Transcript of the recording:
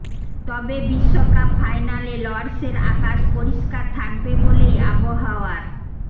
তবে বিশ্বকাপ ফাইনালে লর্ডসের আকাশ পরিষ্কার থাকবে বলেই আবহাওয়ার